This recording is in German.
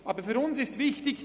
Wichtig für uns ist dies: